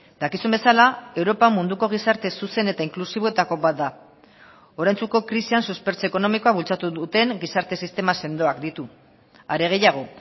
dakizun bezala europa munduko gizarte zuzen eta inklusiboetako bat da oraintsuko krisian suspertze ekonomikoa bultzatu duten gizarte sistema sendoak ditu are gehiago